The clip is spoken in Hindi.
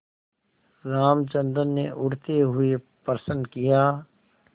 रामचंद्र ने उठते हुए प्रश्न किया